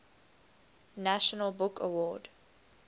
national book award